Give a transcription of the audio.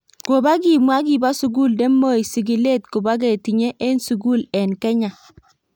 Kobo kimwa kibo sugul nemoi sigilet kobo ketinye en sugul en Kenya.